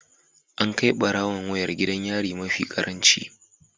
An kai barawon wayar gidan yari mafi karanci